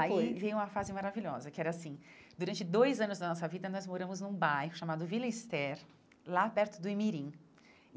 Aí veio a fase maravilhosa, que era assim, durante dois anos da nossa vida, nós moramos num bairro chamado Villa Ester, lá perto do Imirim.